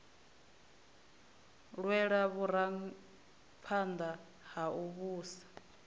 lwelwa vhuraphanḓa ha u vhusa